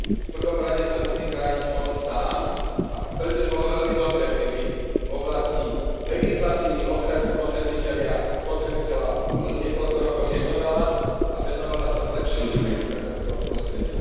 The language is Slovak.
V prvom rade sa musí chrániť on sám, a preto by bolo veľmi dobré, keby v oblasti legislatívy ochrany spotrebiteľa Únia teraz niekoľko rokov nekonala a venovala sa zlepšovaniu podnikateľského prostredia.